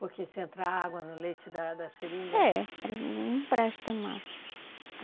Porque se entrar água no leite da da seringa... É, ela não presta mais.